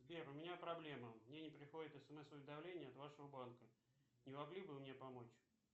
сбер у меня проблема мне не приходит смс уведомление от вашего банка не могли бы вы мне помочь